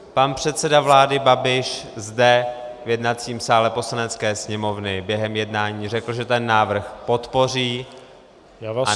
Pan předseda vlády Babiš zde v jednacím sále Poslanecké sněmovny během jednání řekl, že ten návrh podpoří a následně -